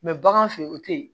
bagan fɛ yen o tɛ yen